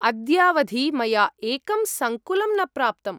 अद्यावधि मया एकं सङ्कुलं न प्राप्तम्।